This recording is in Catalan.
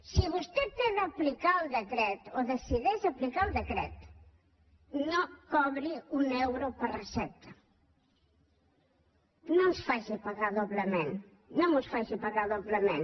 si vostè té d’aplicar el decret o decideix aplicar el decret no cobri un euro per recepta no ens faci pagar doblement no ens faci pagar doblement